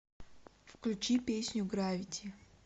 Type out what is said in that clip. включи песню гравити